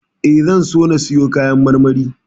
E, zan so na siyo kayan marmari.